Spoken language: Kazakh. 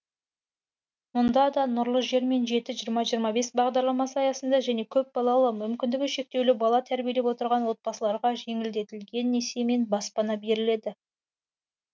мұнда да нұрлы жер мен жеті жиырма жиырма бес бағдарламасы аясында және көпбалалы мүмкіндігі шектеулі бала тәрбиелеп отырған отбасыларға жеңілдетілген несиемен баспана беріледі